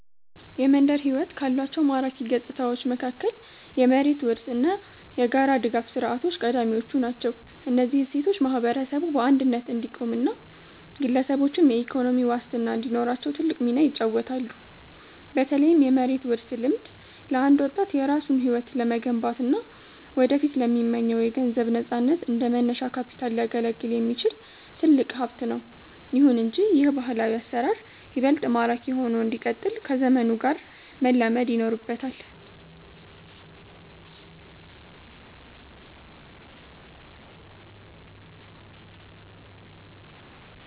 የመንደር ሕይወት ካሏቸው ማራኪ ገጽታዎች መካከል የመሬት ውርስ እና የጋራ ድጋፍ ሥርዓቶች ቀዳሚዎቹ ናቸው። እነዚህ እሴቶች ማህበረሰቡ በአንድነት እንዲቆምና ግለሰቦችም የኢኮኖሚ ዋስትና እንዲኖራቸው ትልቅ ሚና ይጫወታሉ። በተለይም የመሬት ውርስ ልምድ፣ ለአንድ ወጣት የራሱን ሕይወት ለመገንባትና ወደፊት ለሚመኘው የገንዘብ ነፃነት እንደ መነሻ ካፒታል ሊያገለግል የሚችል ትልቅ ሀብት ነው። ይሁን እንጂ ይህ ባህላዊ አሰራር ይበልጥ ማራኪ ሆኖ እንዲቀጥል ከዘመኑ ጋር መላመድ ይኖርበታል።